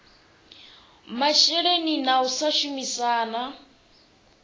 masheleni na u sa shumisana